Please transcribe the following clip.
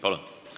Palun!